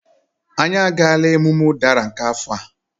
Anyị agaala emume ụdara nke afọ a